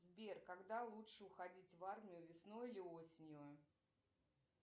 сбер когда лучше уходить в армию весной или осенью